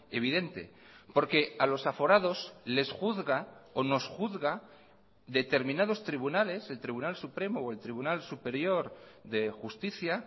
evidente porque a los aforados les juzga o nos juzga determinados tribunales el tribunal supremo o el tribunal superior de justicia